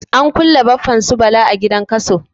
An kulle Baffan su Bala a gidan Kaso.